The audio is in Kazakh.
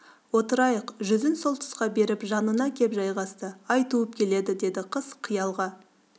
отырайық жүзін сол тұсқа беріп жанына кеп жайғасты ай туып келеді деді қыз қиялға